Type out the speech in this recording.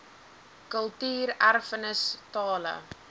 kultuur erfenis tale